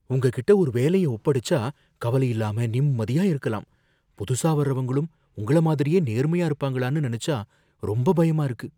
உங்ககிட்ட ஒரு வேலைய ஒப்படைச்சா கவலை இல்லாம நிம்மதியா இருக்கலாம். புதுசா வர்றவங்களும் உங்கள மாதிரியே நேர்மையா இருப்பாங்களானு நினைச்சா ரொம்ப பயமா இருக்கு.